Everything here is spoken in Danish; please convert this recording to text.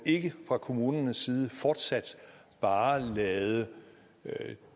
ikke fra kommunernes side fortsat bare lader